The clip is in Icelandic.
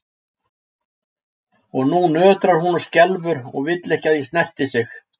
Og nú nötrar hún og skelfur og vill ekki að ég snerti sig.